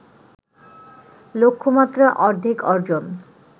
লক্ষ্যমাত্রা অর্ধেক অর্জন